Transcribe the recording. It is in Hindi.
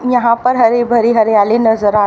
यहां पर हरी भरी हरियाली नजर आ--